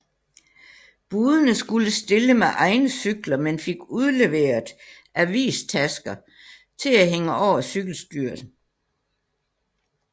Budene skulle stille med egne cykler men fik udleveret avistasker til at hænge over cykelstyret